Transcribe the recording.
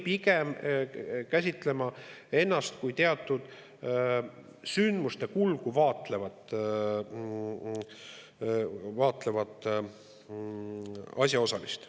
Pigem tuleks käsitleda ennast kui teatud sündmuste kulgu vaatlevat asjaosalist.